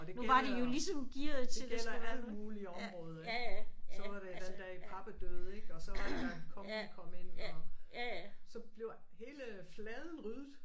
Og det gælder det gælder alt mulig område. Så var det den dag Pape dage ik og så var det da kongen kom ind og. Så bliver hele fladen ryddet